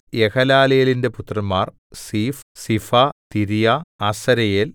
യെഹലലേലിന്റെ പുത്രന്മാർ Ziph Ziphah Tiria Asareel